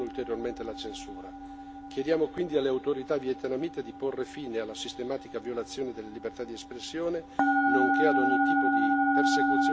Chiediamo quindi alle autorità vietnamite di porre fine alla sistematica violazione della libertà di espressione, nonché ad ogni tipo di persecuzione nei confronti degli attivisti.